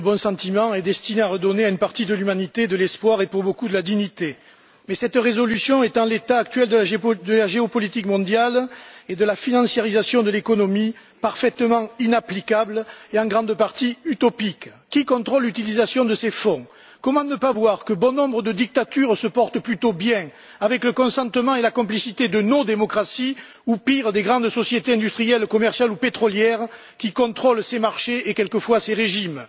Monsieur le Président, ce catalogue de principes élémentaires et de bons sentiments est destiné à redonner à une partie de l'humanité de l'espoir et pour beaucoup de la dignité. Mais cette résolution est, en l'état actuel de la géopolitique mondiale et de la financiarisation de l'économie, parfaitement inapplicable et en grande partie utopique. Qui contrôle l'utilisation de ces fonds? Comment ne pas voir que bon nombre de dictatures se portent plutôt bien avec le consentement et la complicité de nos démocraties ou, pire, des grandes sociétés industrielles commerciales ou pétrolières qui contrôlent ces marchés et quelquefois ces régimes?